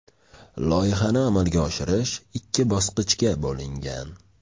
Loyihani amalga oshirish ikki bosqichga bo‘lingan.